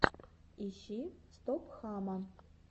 ищи стоп хама